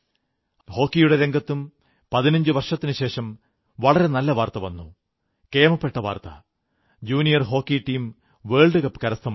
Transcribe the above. ഹോക്കിയുടെ രംഗത്തും പതിനഞ്ചു വർഷത്തിനുശേഷം വളരെ നല്ല വാർത്ത വന്നു കേമപ്പെട്ട വാർത്ത junior hockey team world cup കരസ്ഥമാക്കി